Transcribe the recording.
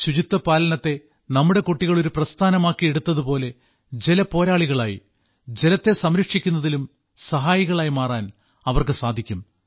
ശുചിത്വപാലനത്തെ നമ്മുടെ കുട്ടികൾ ഒരു പ്രസ്ഥാനമാക്കി എടുത്തതു പോലെ ജല പോരാളികളായി ജലത്തെ സംരക്ഷിക്കുന്നതിലും സഹായികളായി മാറാൻ അവർക്ക് സാധിക്കും